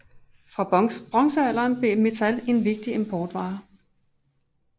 Fra bronzealderen blev metal en vigtig importvare